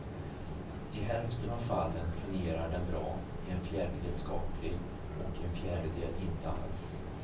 I hälften av fallen fungerar den bra, i en fjärdedel skapligt och i en fjärdedel inte alls.